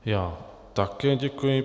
Já také děkuji.